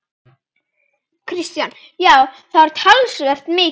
Kristján: Já, og það var talsvert mikið?